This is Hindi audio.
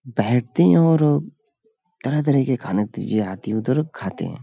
बैठतें है और तरह तरह के खाने आती उधर खाते है।